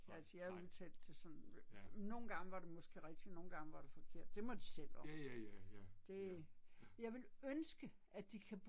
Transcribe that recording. Nåh, nej. Ja. Ja ja ja ja, ja, ja